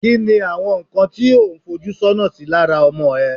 ki ni àwọn nkan tí o un foju sona sí lára ọmọ e